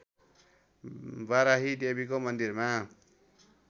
बाराही देवीको मन्दिरमा